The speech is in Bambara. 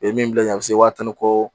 U ye min bila ɲɛ a bɛ se waa tan ni kɔ